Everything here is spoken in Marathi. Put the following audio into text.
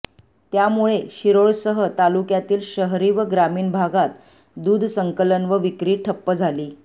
त्यामुळे शिरोळसह तालुक्यातील शहरी व ग्रामीण भागात दूध संकलन व विक्री ठप्प झाली